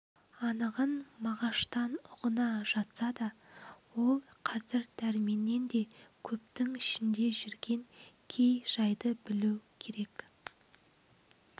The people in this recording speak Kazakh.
анығын мағаштан ұғына жатса да ол қазір дәрменнен де көптің ішінде жүрген кей жайды білу керек